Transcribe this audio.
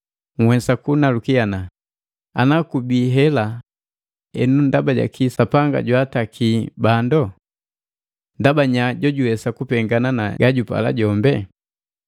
Nhwesa kunaluki, “Ana kubihela enu ndaba jaki Sapanga jwaataki bandu? Ndaba nya jojuwesa kupengana na gajupala jombi?”